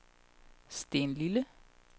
Stenlille